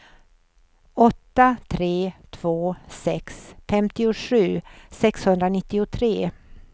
åtta tre två sex femtiosju sexhundranittiotre